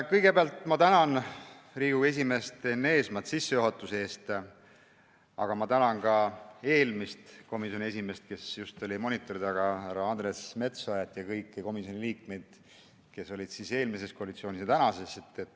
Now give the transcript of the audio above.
Kõigepealt ma tänan Riigikogu esimeest Enn Eesmaad sissejuhatuse eest, aga tänan ka eelmist komisjoni esimeest, kes just oli monitoril, härra Andres Metsoja, ja kõiki teisi komisjoni liikmeid, kes olid eelmises koalitsioonis ja on praeguses.